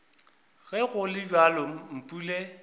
ge go le bjalo mpule